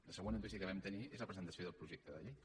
la següent notícia que vam tenir és la presentació del projecte de llei